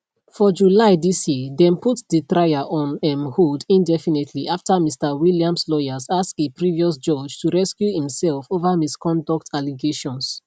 for july dis yeardem put di trial on um hold indefinitelyafter mr williams lawyers ask a previous judge to recuse imself over misconduct allegations